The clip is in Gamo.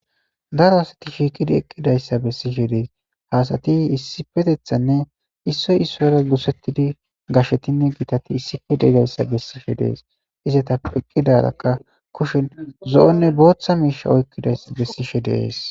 Daro asati shiikidi eqqidayssa bessishe dees haasati issifetethanne issoy issoyra gusettidi gashetinne giitati issife deigayssa bessishe dees izata eqqidarakka kushen zo7onne booththa miisha oykkidayssa bessishe dees.